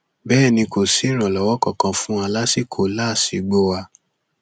bẹẹ ni kò sí ìrànlọwọ kankan fún wa lásìkò làásìgbò wa